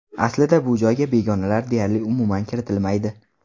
Aslida bu joyga begonalar deyarli umuman kiritilmaydi.